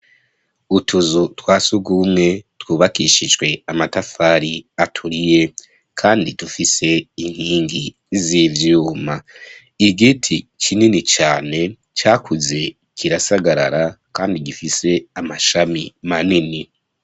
Utuzu twa sugumwe twubakishijwe amatafari aturiye kandi dufise inkingi z'ivyuma, igiti kinini cane cakuze kirasagarara kandi gifise amashami manini.